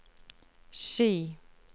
Ski